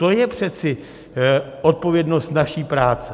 To je přece odpovědnost naší práce.